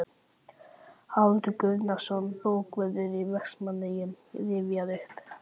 Haraldur Guðnason, bókavörður í Vestmannaeyjum, rifjar upp